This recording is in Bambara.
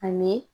Ani